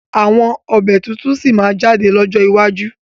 Àwọn ọbẹ̀ tuntun sí máa jáde lọ́jọ́ iwájú